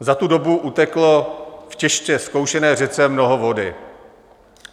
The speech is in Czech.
Za tu dobu uteklo v těžce zkoušené řece mnoho vody.